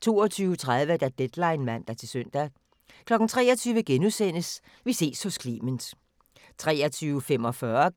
22:30: Deadline (man-søn) 23:00: Vi ses hos Clement * 23:45: